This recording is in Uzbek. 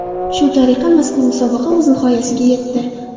Shu tariqa mazkur musobaqa o‘z nihoyasiga yetdi.